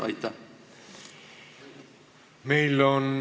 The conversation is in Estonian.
Aitäh!